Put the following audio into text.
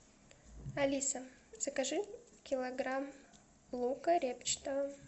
алиса закажи килограмм лука репчатого